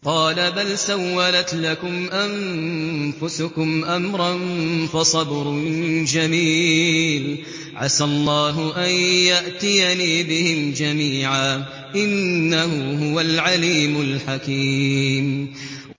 قَالَ بَلْ سَوَّلَتْ لَكُمْ أَنفُسُكُمْ أَمْرًا ۖ فَصَبْرٌ جَمِيلٌ ۖ عَسَى اللَّهُ أَن يَأْتِيَنِي بِهِمْ جَمِيعًا ۚ إِنَّهُ هُوَ الْعَلِيمُ الْحَكِيمُ